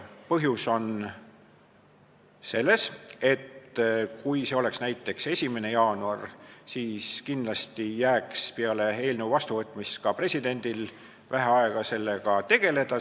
Põhjus on selles, et kui see oleks näiteks 1. jaanuar, siis kindlasti jääks peale seaduse vastuvõtmist ka presidendil vähe aega sellega tegeleda.